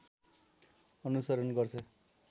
अनुसरण गर्छ